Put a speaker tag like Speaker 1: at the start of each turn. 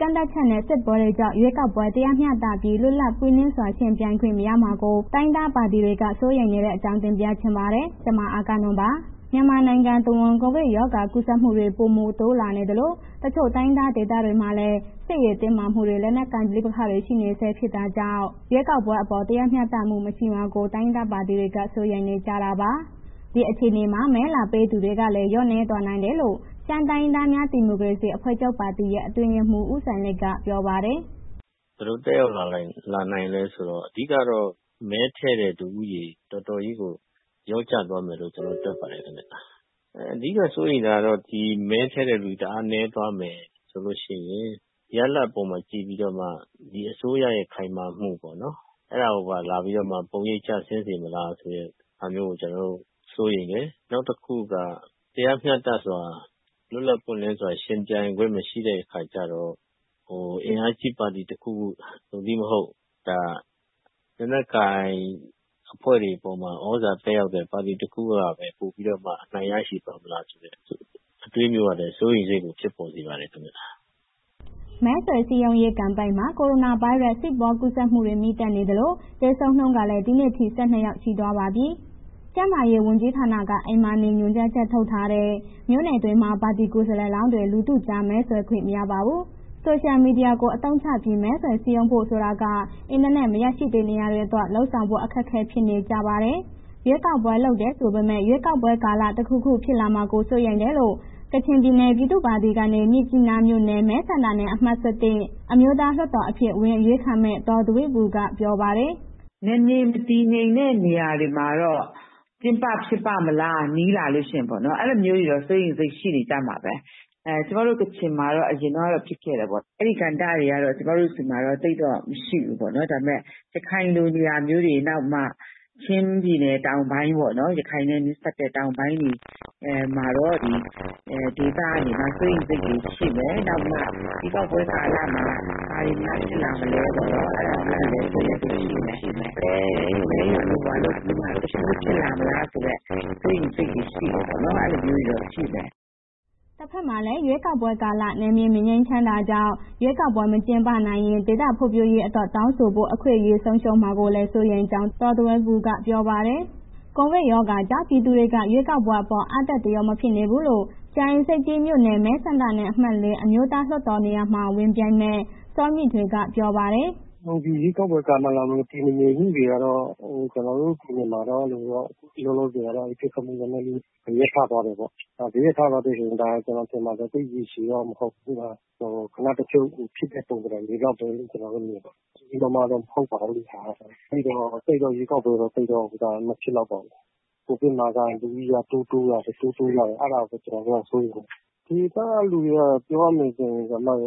Speaker 1: ကန့်သတ်ချက်နဲ့ စစ်ပွဲတွေကြားမှာ ရွေးကောက်ပွဲ တရားမျှတပြီး လွတ်လပ်ပွင့်လင်းစွာ ယှဉ်ပြိုင်ခွင့်မရှိမှာကို တိုင်းရင်းသားပါတီတွေက စိုးရိမ်နေတဲ့အကြောင်းကို ဗွီအိုအေမြန်မာပိုင်းသတင်းထောက် မအဂ္ဂနွန်က တင်ပြပေးပါမယ်။ မြန်မာနိုင်ငံတဝန်း ကိုဗစ်ကပ်ရောဂါကူးစက်မှုတွေ ပိုမိုတိုးလာနေသလို တချို့တိုင်းရင်းသားဒေသမှာလည်း စစ်ရေးတင်မာမှုတွေ၊ လက်နက်ဋိပက္ခတွေရှိနေဆဲဖြစ်တာကြောင့် ရွေးကောက်ပွဲအပေါ် တရားမျှတမှုမရှိမှာကို တိုင်းရင်းသားပါတီတွေက စိုးရိမ်ကြနေတာပါ။ ဒီအခြေအနေမှာ ဆန္ဒမဲလာပေးသူတွေလည်း လျော့ကျသွားနိုင်တယ်လို့ ရှမ်းတိုင်းရင်းသားများ ဒီမိုကရေစီအဖွဲ့ချုပ်ပါတီရဲ့ အတွင်းရေးမှူး ဦးစိုင်းလိတ်က ပြောပါတယ်။
Speaker 2: “ဘယ်လိုသက်ရောက်လာနိုင်လည်းဆိုတော့ အဓိကတော့ မဲထည့်တဲ့ လူဦးရေ တော်တော်လေးကို လျော့ကျသွားမယ်လို့ ကျနော်တို့ သုံးသပ်ပါတယ်ခင်ဗျ။ အဓိက စိုးရိမ်တာက ဒီမဲထည့်တဲ့ လူတအားနည်းသွားမယ်ဆိုလို့ရှိရင် ရလဒ်အပေါ်မှာကြည့်ပြီးတော့မှ အစိုးရရဲ့ခိုင်မာမှုပေါ့နော်... အဲ့ဒါကိုပါလာပြီးတော့ ပုံရိပ်ကျဆင်းစေမလားဆိုတဲ့မျိုးကို ကျနော်တု့ိ စိုးရိမ်တယ်၊ နောက်တစ်ခုက တရားမျှတစွာ လွတ်လပ်ပွင့်လင်းစွာ ယှဉ်ပြိုင်ခွင့်မရှိတဲ့အခါကျတော့ အင်အားကြီးပါတီတစ်ခုခု သို့မဟုတ် လက်နက်ကိုင်အဖွဲ့တွေအပေါ်မှာ သြဇာသက်ရောက်တဲ့ ပါတီတစ်ခုကပဲ ပိုပြီးတော့မှ အနိုင်ရရှိသွားမလားဆိုတဲ့ အတွေးမျိုးကလည်း စိုးရိမ်စိတ်တွေ ဖြစ်ပေါ်စေပါတယ်ခင်ဗျာ။
Speaker 1: ” မဲဆွယ်စည်းရုံတဲ့ ကမ်ပိန်းကာလမှာ ကိုရိုနာဗိုင်းရပ်စ် ဆင့်ပွားကူးစက်မှုတွေ မြင့်တက်နေသလို သေဆုံနှုန်းကလည်း ဒီနေ့ထိ ၁၂ ယောက်ရှိသွားပါပြီ။ ကျန်းမာရေးဝန်ကြီးဌာနက “အိမ်မှာနေ” ညွှန်ကြားချက်ထုတ်ထားတဲ့ မြို့နယ်တွေမှာ ပါတီကိုယ်စားလှယ်လောင်းတွေ လူထုကြား မဲဆွယ်ခွင့်မရပါဘူး။ ဆိုရှယ်မီဒီယာကို အသုံးချပြီး မဲဆွယ်စည်းရုံဖို့ဆိုတာက အင်တာနက်မရရှိနေရာတွေအတွက် လုပ်ဆောင်ဖို့ အခက်အခဲဖြစ်နေကြပါတယ်။ ရွေးကောက်ပွဲလုပ်တယ်ဆိုပေမယ့် ရွေးကောက်ပွဲကာလ တစ်ခုခုဖြစ်လာကို စိုရိမ်တယ်လို့ ကချင်ပြည်နယ်ပြည်သူ့ပါတီကနေ မြစ်ကြီးနာမြို့နယ် မဲဆန္ဒနယ်အမှတ်(၁၁)၊ အမျိုးသားလွှတ်တော်အဖြစ် ဝင်အရွေးခံမယ့် ဒေါ်ဒွဲဘူက ပြောပါတယ်။ “နယ်မြေမတည်ငြိမ်တဲ့ နေရာတွေမှာတော့ ကျင်းပဖြစ်ပါ့မလား၊ နီးလာလို့ရှိရင်ပေါ့နော်၊ အဲ့လ
Speaker 2: ိုမျိုးတွေတော့ စိုးရိမ်စိတ်တွေနေကြမှာပဲ၊ ကျမတို့ ကချင်မှာတော့ အရင်တုန်းကဖြစ်ခဲ့တယ်ပေါ့၊ အဲ့ဒီကဏ္ဍတွေက ကျမတု့ိဆီမှာ သိပ်တော့မရှိဘူးပေါ့နော်။ ဒါပေမဲ့ ရခိုင်လို နေရာမျိုးတွေ၊ နောက် ချင်းပြည်နယ်တောင်ပိုင်းပေါ့နော် ရခိုင်နဲ့ နီးစပ်တဲ့ တောင်ပိုင်းတွေမှာတော့ ဒေသတွေက စိုးရိမ်စိတ်တွေရှိမယ်။ နောက်ပြီးမှ ရွေးကောက်ပွဲကာလမှာ ဘာတွေများဖြစ်လာမလဲပေါ့၊ အဲ့ဒါလေးတွေ စိုးရိမ်စိတ်ရှိမယ်၊ မဲရုံလုပ်ပြီးမှ တစ်ခုခုဖြစ်လားမလားဆိုတဲ့ စိုးရိမ်စိတ်တွေပေါ့နော် အဲ့လိုမျိုးတွေရှိမယ်။”
Speaker 1: တဘက်မှာလည်း ရွေးကောက်ပွဲကာလ နယ်မြေမငြိမ်ချမ်းတာကြောင့် ရွေးကောက်ပွဲမကျင်းပနိုင်ရင် ဒေသဖွံ့ဖြိုးရေးအတွက် တောင်ဆိုဖို့ အခွင့်အရေးဆုံးရှုံးမှာကိုလည်း စိုးရိမ်ကြောင်း ဒေါ်ဒွဲဘူက ဆိုပါတယ်။ ကိုဗစ်ရောဂါကြောင့် ပြည်သူတွေက ရွေးကောက်ပွဲအပေါ် အားတက်သရောမဖြစ်နေဘူးလို့ ကြာအင်းဆိပ်ကြီးမြို့နယ် မဲဆန္ဒနယ်အမှတ် ၄ အမျိုးသားလွှတ်တော်နေရာမှာ ဝင်ပြိုင်မယ့် စောမြင့်ထွေးက ပြောပါတယ်။
Speaker 3: “ဒီရွေးကောက်ပွဲကာလမှာ နယ်မြေမတည်ငြိမ်တွေကတော့ ကျနော်တို့မှာက လောလောက ပစ်ခတ်မှုတွေ ရပ်သွားတယ်ပေါ့၊ ဒီပစ်ခတ်မှုက ကျနော်ထင်တာ သိပ်ရေရှည်မဟုတ်ဘူး။ ခဏတဖြုတ်ဖြစ်တဲ့ ပုံသဏ္ဍာန်လောက်ပဲ ကျနော်တို့မြင်တယ်။ ဒါက သိပ်ကြီးကြီးမားမားလည်း မဟုတ်ပါဘူး၊ ရွေးကောက်ပွဲတော့ သိပ်တော့ မဖြစ်လောက်ပါဘူး၊ COVID ရောဂါ လူဦးရေက တိုးတိုးလာနေတယ်၊ အဲ့ဒါပဲ ကျနော်တို့ စိုးရိမ်နေတယ်၊ ဒေသက လူတွေက ပြောရမယ်ဆိုရင်ပေါ့နော်